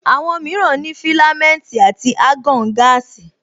Àwọn mìíràn ní filamenti àti argon gaasi